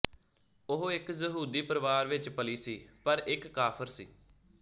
ਉਹ ਇੱਕ ਯਹੂਦੀ ਪਰਿਵਾਰ ਵਿੱਚ ਪਲੀ ਸੀ ਪਰ ਇੱਕ ਕਾਫ਼ਰ ਸੀ